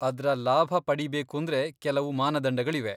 ಅದ್ರ ಲಾಭ ಪಡೀಬೇಕೂಂದ್ರೆ ಕೆಲವು ಮಾನದಂಡಗಳಿವೆ.